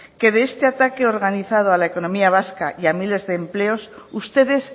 que de este ataque organizado a la economía vasca y a miles de empleo ustedes